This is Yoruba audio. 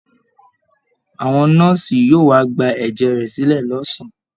Àwọn nọ́ọ̀sì yóò wá gba ẹ̀jẹ̀ rẹ̀ sílẹ̀ lọ́sàn-án